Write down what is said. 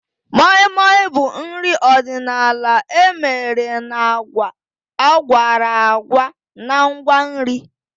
Moi Moi bụ nri ọdịnala emere na agwa akworakwo na ngwa nri